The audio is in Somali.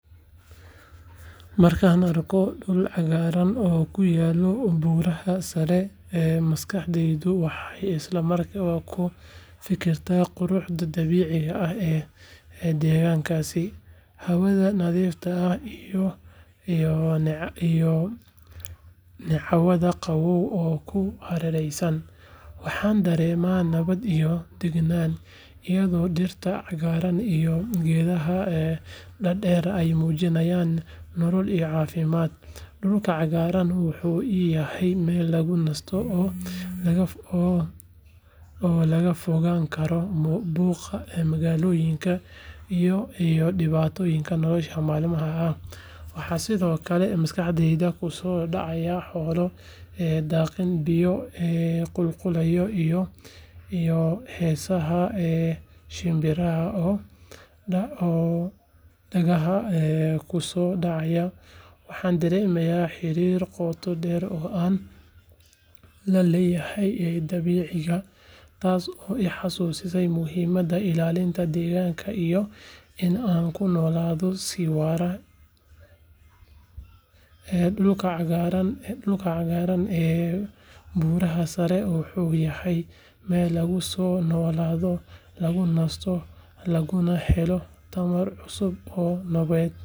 Markan arko dul xagaran oo kuyalo buraha sare ee maskaxdeydu waxee isla mar kale fikirtaa quruxda dabicigu ee degankasi hawada iyo necwaada qawow ku haeresan waxan darema nawaad iyo dagnan, dulka cagaran wuxuu iyaha meel lagu nasto, waxaa maskaxdeyda kusodacaya xola hesaha shombiro, ee dulka cagaran ee buraha sare wuxu yahay meel lagu sonoladho lagu nasto tawar lagu helo.